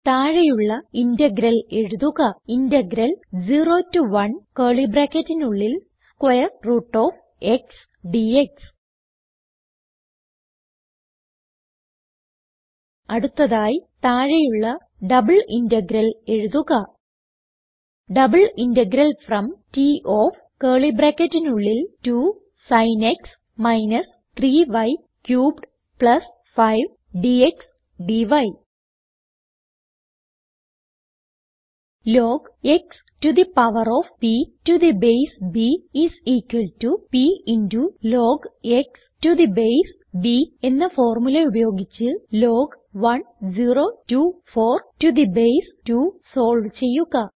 താഴെയുള്ള ഇന്റഗ്രൽ എഴുതുക integral 0 to 1 square root of x dx അടുത്തതായി താഴെയുള്ള ഡബിൾ ഇന്റഗ്രൽ എഴുതുക double integral from T of 2 sin x - 3 y cubed 5 dx d log x to the power of p to the base b is equal to p into log x to the base b എന്ന formula ഉപയോഗിച്ച് log 1024 to the base 2 solve ചെയ്യുക